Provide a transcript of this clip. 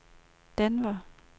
Denver